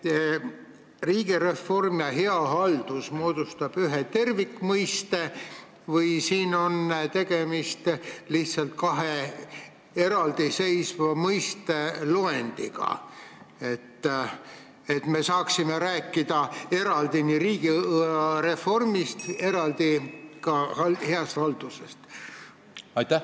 Kas riigireform ja hea haldus moodustavad ühe tervikmõiste või on siin tegemist lihtsalt eraldiseisvate mõistete loendiga, nii et me saaksime rääkida eraldi riigireformist ja eraldi ka heast haldusest?